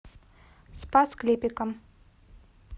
спас клепикам